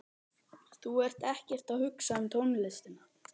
Þú ert ekkert að hugsa um tónlistina.